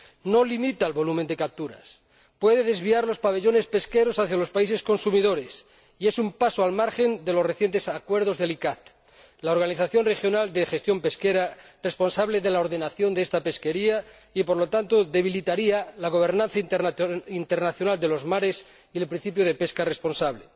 no limita el volumen de capturas, puede desvíar los pabellones pesqueros hacia los países consumidores y es un paso al margen de los recientes acuerdos del ICCAT, la organización regional de gestión pesquera responsable de la ordenación de esta pesquería, y, por lo tanto, debilitaría la gobernanza internacional de los mares y el principio de pesca responsable.